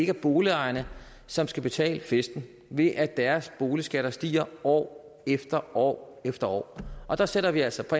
er boligejerne som skal betale festen ved at deres boligskatter stiger år efter år efter år og der sætter vi altså